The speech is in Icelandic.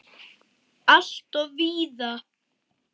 Alltof víða!